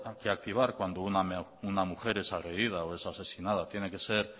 que activar cuando una mujer es agredida o es asesinada tiene que ser